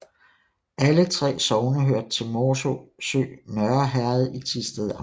Alle 3 sogne hørte til Morsø Nørre Herred i Thisted Amt